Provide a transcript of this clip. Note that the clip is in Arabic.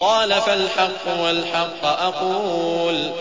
قَالَ فَالْحَقُّ وَالْحَقَّ أَقُولُ